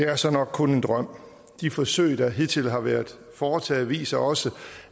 er så nok kun en drøm de forsøg der hidtil har været foretaget viser også